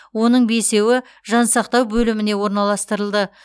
оның бесеуі жансақтау бөліміне орналастырылды